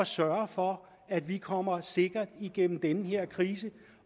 sørge for at vi kommer sikkert igennem den her krise